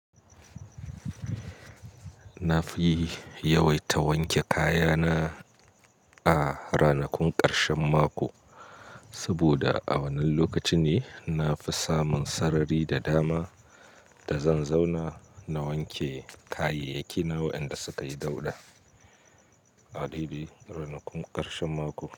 Na fi yawaita wanke kayana a ranakun ƙarshen mako, saboda a wannan lokaci ne na fi samun sarari da dama da zan zauna na wanke kayayyaki na waɗanda suka yi dauɗa. A dabi'i ranakun ƙarshen mako.